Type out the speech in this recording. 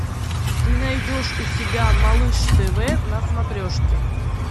ты найдешь у себя малыш тв на смотрешке